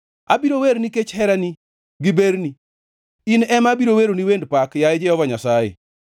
Abiro wer nikech herani gi berni; in ema abiro weroni wend pak, yaye Jehova Nyasaye.